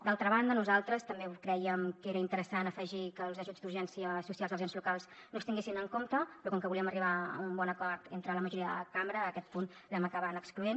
d’altra banda nosaltres també crèiem que era interessant afegir que els ajuts d’urgència social dels ens locals no es tinguessin en compte però com que volíem arribar a un bon acord entre la majoria de la cambra aquest punt l’hem acabat excloent